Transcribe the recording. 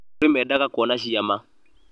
kũrĩ meendaga kuona ciama